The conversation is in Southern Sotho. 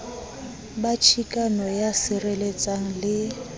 ba chikano ya sireletsang le